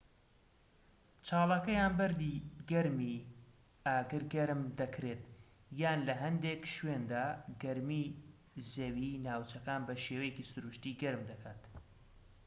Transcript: چاڵەکە یان بە بەردی گەرمی ئاگر گەرم دەکرێت یان لە هەندێک شوێندا گەرمی زەوی ناوچەکان بە شێوەیەکی سروشتی گەرم دەکات